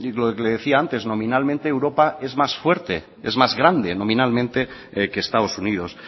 lo que le decía antes nominalmente europa es más fuerte es más grande nominalmente que estados unidos